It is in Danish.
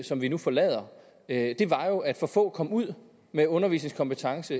som vi nu forlader at for få kom ud med undervisningskompetence